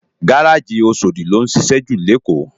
Gáráji Óṣódi ló nšišẹ jú ni Ékó